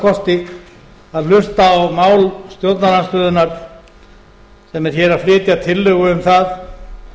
kosti að hlusta á mál stjórnarandstöðunnar sem er að flytja tillögu um það